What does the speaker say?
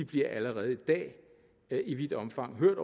bliver allerede i dag i vidt omfang hørt